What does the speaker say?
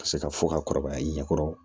Ka se ka fɔ ka kɔrɔbaya i ɲɛ kɔrɔ